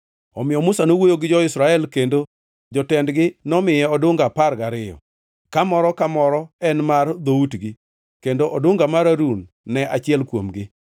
Omiyo Musa nowuoyo gi jo-Israel, kendo jotendgi nomiye odunga apar gariyo, ka moro ka moro en mar dhoutgi, kendo odunga mar Harun ne achiel kuomgi.